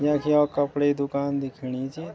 यख यौ कपडे दूकान दिखेणी च।